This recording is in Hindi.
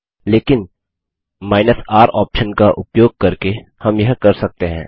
लेकिन R ऑप्शन का उपयोग करके हम यह कर सकते हैं